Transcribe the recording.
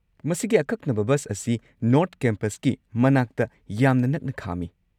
ꯃꯁꯤꯒꯤ ꯑꯀꯛꯅꯕ ꯕꯁ ꯑꯁꯤ ꯅꯣꯔꯊ ꯀꯦꯝꯄꯁꯀꯤ ꯃꯅꯥꯛꯇ ꯌꯥꯝꯅ ꯅꯛꯅ ꯈꯥꯝꯃꯤ꯫